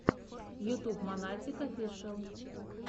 ютуб монатик офишиал